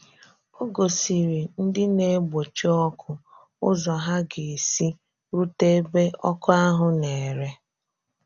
Ọ gòsìrì ndị na-egbochi ọkụ ụzọ ha ga-esi rute ebe ọkụ ahụ̀ na-ere.